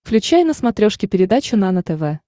включай на смотрешке передачу нано тв